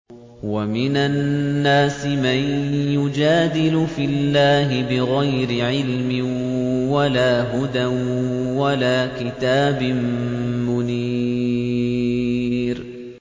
وَمِنَ النَّاسِ مَن يُجَادِلُ فِي اللَّهِ بِغَيْرِ عِلْمٍ وَلَا هُدًى وَلَا كِتَابٍ مُّنِيرٍ